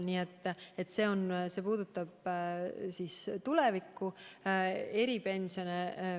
Need otsused puudutavad tuleviku eripensione.